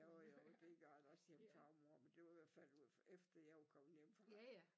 Jo jo det gør der også hjemme far og mor men det var i hvert fald efter jeg var kommet hjemmefra